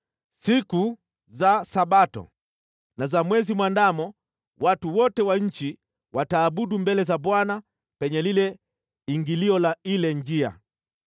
Siku za Sabato na za Mwezi mwandamo watu wote wa nchi wataabudu mbele za Bwana penye lile ingilio la ile njia.